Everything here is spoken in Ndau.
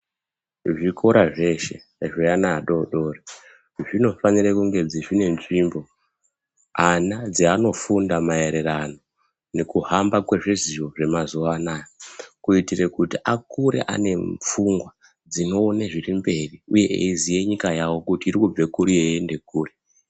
Zvikora zveshe zveana adodori zvinofanire kunge zvine nzvimbo ana dzeanofunda maererano nekuhamba kwezviziyo zvemazuwa anawa kuitira kuti akure ane pfungwa dzinoone zviri mberi uye ayiziya nyika yavo kuti irikubva kuri yeiyende kuri.